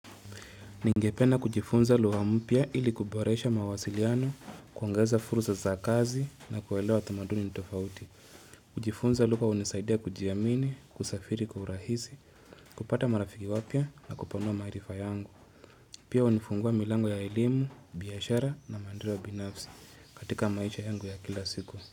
Ningependa kujifunza lugha mpya ili kuboresha mawasiliano, kuongeza furusa za kazi na kuwelewa tamaduni nitofauti. Kujifunza lugha unisaidia kujiamini, kusafiri, kwa urahisi, kupata marafiki wapya na kupanua maarifa yangu. Pia unifungua milango ya elimu, biyashara na mandirwa binafsi katika maisha yangu ya kila siku.